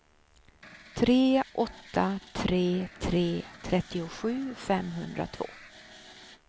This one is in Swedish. tre åtta tre tre trettiosju femhundratvå